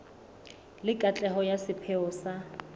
le katleho ya sepheo sa